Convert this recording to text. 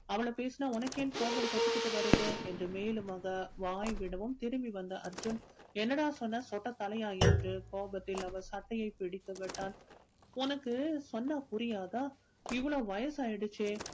அவள பேசினா உனக்கு ஏன் கோபம் பொத்துக்கிட்டு வருது என்று மேலும் அவர் வாய் விடவும் திரும்பி வந்த அர்ஜுன் என்னடா சொன்ன சொட்டை தலையா என்று கோபத்தில் அவர் சட்டையை பிடித்து விட்டான் உனக்கு சொன்னா புரியாதா இவ்வளோ வயசு ஆயிடுச்சே